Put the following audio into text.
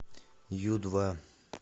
ю два